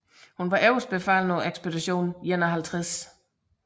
Hun var øverstbefalende på Ekspedition 51